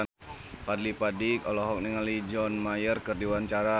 Fadly Padi olohok ningali John Mayer keur diwawancara